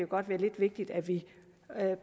godt være lidt vigtigt at vi